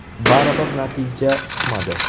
Baribir natija chiqmadi.